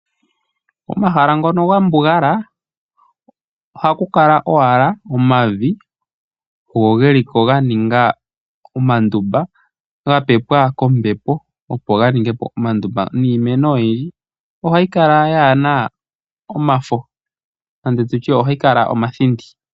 Komahala ngono ga mbugala ohaku kala owala omavi geliko ganinga omandumba ga pepwa kombepo opo ganingepo omandumba niimeno oyindji ohayi kala kayina omafo ano ohayi kala omathindi.